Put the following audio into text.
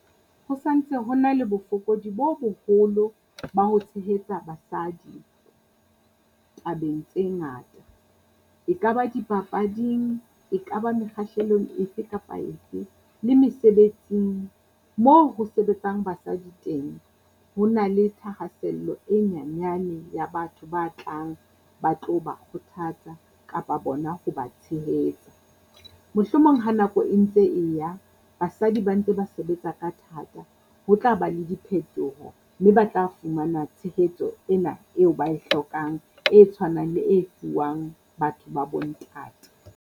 Ho santse ho na le bofokodi bo boholo ba ho tshehetsa basadi tabeng tse ngata. E ka ba dipapading, e ka ba mekgahlelong efe kapa efe le mesebetsing moo ho sebetsang basadi teng. Ho na le thahasello e nyanyane ya batho ba tlang ba tlo ba kgothatsa kapa bona hoba tshehetsa, mohlomong ha nako e ntse e ya. Basadi Ba ntse ba sebetsa ka thata, ho tla ba le diphetoho mme ba tla fumana tshehetso ena eo ba e hlokang e tshwanang le e fuwang batho ba bo ntate.